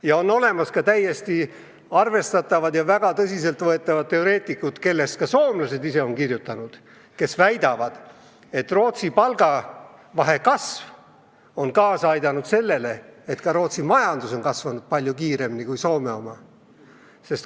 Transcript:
Ja on olemas väga tõsiselt võetavad teoreetikud, kellest ka soomlased on ise kirjutanud ja kes väidavad, et Rootsi palgavahe kasv on kaasa aidanud sellele, et Rootsi majandus on kasvanud palju kiiremini kui Soome oma.